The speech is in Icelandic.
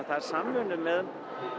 það er samvinna með